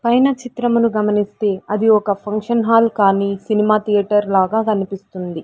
పైన చిత్రమును గమనిస్తే అది ఒక ఫంక్షన్ హాల్ కానీ సినిమా థియేటర్ లాగా కనిపిస్తుంది.